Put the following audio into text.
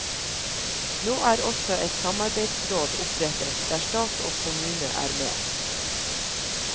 Nå er også et samarbeidsråd opprettet der stat og kommune er med.